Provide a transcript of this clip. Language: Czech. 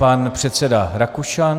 Pan předseda Rakušan.